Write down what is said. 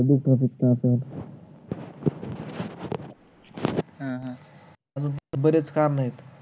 बरच काम आहेत